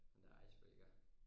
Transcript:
Den der icebraker